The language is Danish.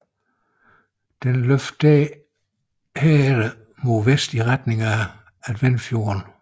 Den løber derefter mod vest i retning af Adventfjorden